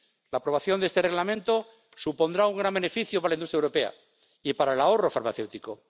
La aprobación de este Reglamento supondrá un gran beneficio para la industria europea y para el ahorro farmacéutico.